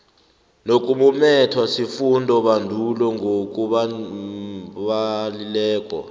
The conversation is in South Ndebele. nokumumethwe sifundobandulo ngokunabileko